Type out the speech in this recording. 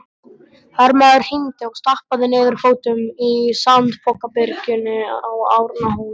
Hermaður hímdi og stappaði niður fótum í sandpokabyrginu á Arnarhóli.